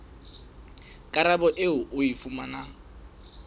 karabo eo o e fumanang